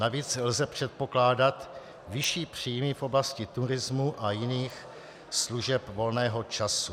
Navíc lze předpokládat vyšší příjmy v oblasti turismu a jiných služeb volného času.